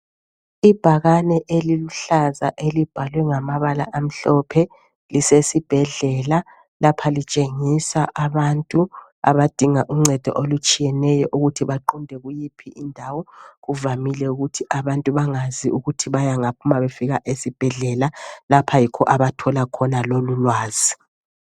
Ibhakane eliluhlaza elibhalwe ngamabala amhlophe lisesibhedlela. Lapha litshengisa abantu abadinga uncedo olutshiyeneyo ukuthi baqonde kuyiphi indawo. Kuvamile ukuthi abantu bangazi ukuthi bayengaphi nxa befika esibhedlela lapha yikho kulapho abathola khona lolulwazi.